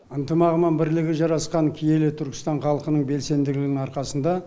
ынтымағы мен бірлігі жарасқан киелі түркістан халқының белсенділігінің арқасында